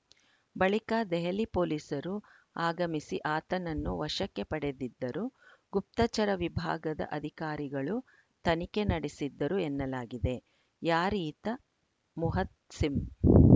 ಬಳಿಕ ದೆಹಲಿ ಪೊಲೀಸರು ಆಗಮಿಸಿ ಆತನನ್ನು ವಶಕ್ಕೆ ಪಡೆದಿದ್ದರು ಗುಪ್ತಚರ ವಿಭಾಗದ ಅಧಿಕಾರಿಗಳೂ ತನಿಖೆ ನಡೆಸಿದ್ದರು ಎನ್ನಲಾಗಿದೆ ಯಾರೀತ ಮುಹತ್ ಸಿಂ